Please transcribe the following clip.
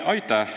Aitäh!